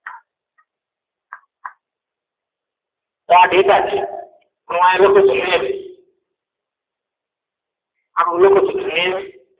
તો આ ડેટા છે લખું છું name